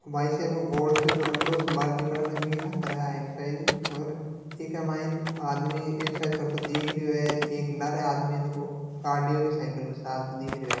वाय्षेप हैएक्सरसाइज और के माई आदमी एक्सरसाइज करतो दिख रहियो है एक लारे आदमी है जो कार्डिओ की साइकिल पे चालतो दिख रहियो है।